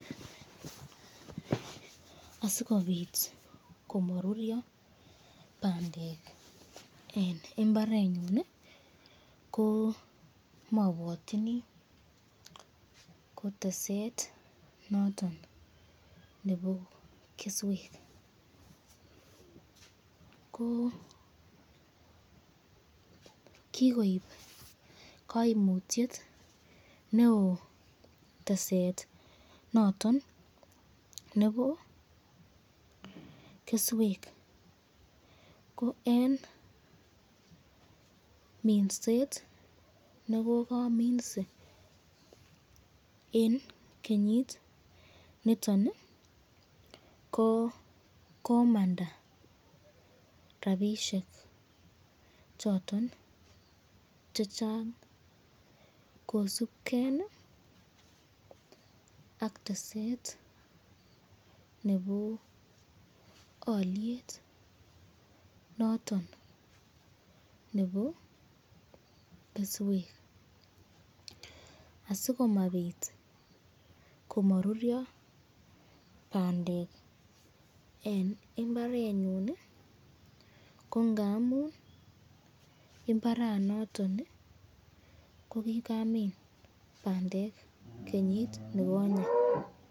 Asikobit komaruryo bandek eng imbarenyun ko mabwatyini ko teset noon nebo keswek, ko kikoib kaimutyet neo teset noton nebo keswek, ko eng minset nekokaminse eng kenyit niton ko komanda rapishek choton chechang kosubken ak teset nebo alyet noton nebo keswek, asikomabit komaruryo bandek eng imbarenyun ko ngamun imbarsnoton ko kikamin bandek kenyit nekonyen.